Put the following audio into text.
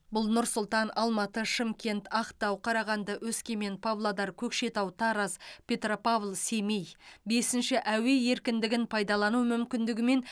бұл нұр сұлтан алматы шымкент ақтау қарағанды өскемен павлодар көкшетау тараз петропавл семей бесінші әуе еркіндігін пайдалану мүмкіндігімен